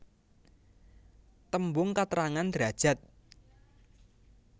Tembung katrangan derajad